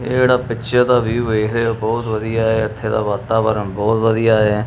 ਇਹ ਜਿਹੜਾ ਪਿੱਛੇ ਦਾ ਵਿਊ ਐ ਇਹ ਬਹੁਤ ਵਧੀਆ ਐ ਇਥੇ ਦਾ ਵਾਤਾਵਰਨ ਬਹੁਤ ਵਧੀਆ ਐ।